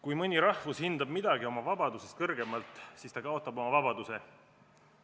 Kui üks rahvus hindab midagi oma vabadusest kõrgemalt, siis ta kaotab oma vabaduse.